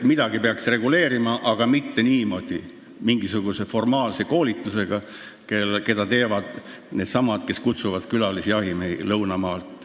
Midagi peaks reguleerima, aga mitte niimoodi, mingisuguse formaalse koolitusega, mida teevad needsamad, kes kutsuvad külalisjahimehi lõunamaalt.